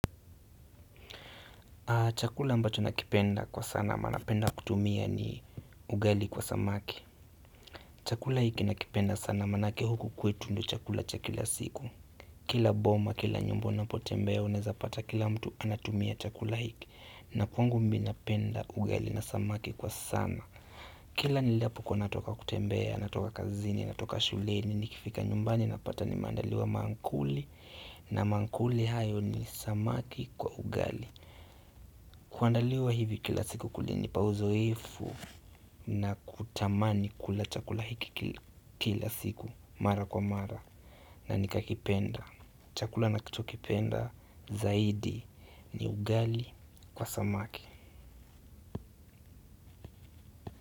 Chakula ambacho nakipenda kwa sana ama napenda kutumia ni ugali kwa samaki. Chakula hiki nakipenda sana maanake huku kwetu ndio chakula cha kila siku. Kila boma, kila nyumba unapotembea unaeza pata kila mtu anatumia chakula hiki. Na kwangu mimi napenda ugali na samaki kwa sana. Kila ninapokuwa natoka kutembea, natoka kazini, natoka shuleni, nikifika nyumbani napata nimeandaliwa mankuli. Na mankuli hayo ni samaki kwa ugali. Kuandaliwa hivi kila siku kulinipa uzoefu na kutamani kula chakula hiki kila siku mara kwa mara na nikakipenda. Chakula nachokipenda zaidi ni ugali kwa samaki.